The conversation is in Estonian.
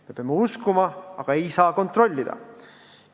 Me peame seda uskuma, aga ei saa kontrollida.